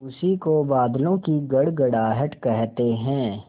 उसी को बादलों की गड़गड़ाहट कहते हैं